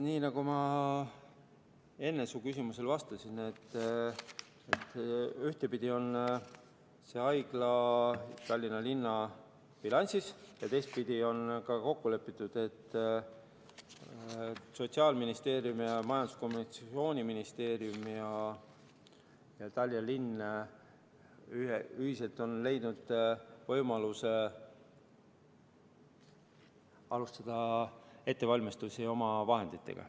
Nii nagu ma enne su küsimusele vastasin, ühtpidi on see haigla Tallinna linna bilansis ja teistpidi on ka kokku lepitud, et Sotsiaalministeerium ning Majandus‑ ja Kommunikatsiooniministeerium ja Tallinna linn on ühiselt leidnud võimaluse alustada ettevalmistusi oma vahenditega.